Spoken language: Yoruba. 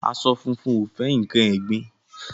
Aṣọ funfun ò fẹ́ nǹkan ẹ̀gbin.